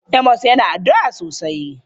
Amos yana addu'a sosai.